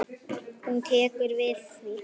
Hún tekur við því.